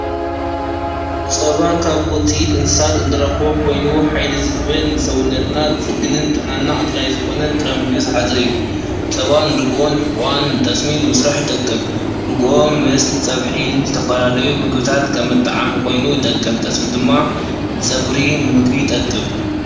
ፀባ ካብ ወፂኢት እንስሳ እንረኽቦ ኮይኑ ሓይሊ ዝህብን ንሰውነትና ዝፅግንን ጥዕናና ኣድላይ ዝኮነን ጥረ ምግቢ ዝሓዘ እዩ። ፀባን ርጎን ሕቛን ጠስሚ ንምስራሕ ይጠቅም ርጎኦ ምስ ፀብሒ ዝተፈላለዩ ምግቢታት ከም መጥዓሚ ኮይኑ ይጠቅም ጠስሚ ድማ ንፀጉሪ ንምግቢ ይጠቅም።